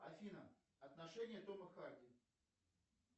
афина отношения тома харди